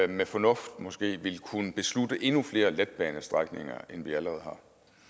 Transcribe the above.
med fornuft måske vil kunne beslutte endnu flere letbanestrækninger end vi allerede